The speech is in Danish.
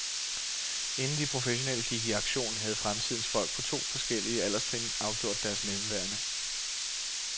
Inden de professionelle gik i aktion, havde fremtidens folk på to forskellige alderstrin afgjort deres mellemværende.